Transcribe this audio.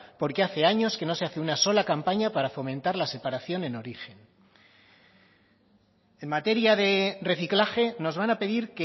porque hace años que no se hace ni una sola campaña para fomentar la separación en origen en materia de reciclaje nos van a pedir